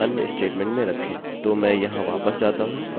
तो मैं यहाँ वापस जाता हूँ और मैं मेरी फाइल फिर से चुनता हूँ